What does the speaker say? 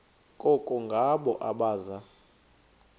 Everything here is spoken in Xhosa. koko ngabo abaza